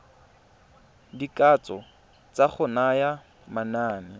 dikatso tsa go naya manane